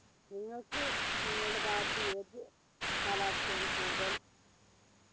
നിങ്ങൾക്ക് നിങ്ങൾടെ ഭാഗത്ത്‌ ഏത് കാലാവസ്ഥയാണ് കൂടുതൽ